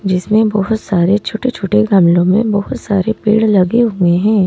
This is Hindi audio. जिसमें बहुत सारे छोटे-छोटे गामलों में बहुत सारे पेड़ लगे हुए हैं।